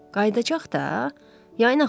Qayıdacaq da, yayın axırında.